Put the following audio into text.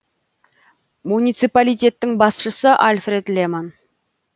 муниципалитеттің басшысы альфред леман